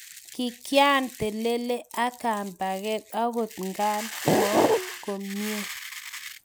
kikyan telele ak kambaket akot ngan mo komie